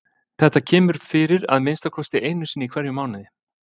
Þetta kemur fyrir að minnsta kosti einu sinni í hverjum mánuði.